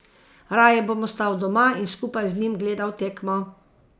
Raje bom ostal doma in skupaj z njim gledal tekmo.